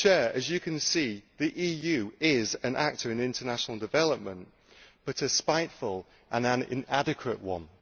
As you can see, the EU is an actor in international development, but a spiteful and an inadequate one.